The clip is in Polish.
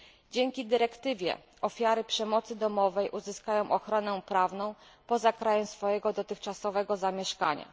Dzięki dyrektywie ofiary przemocy domowej uzyskają ochronę prawną poza krajem swojego dotychczasowego zamieszkania.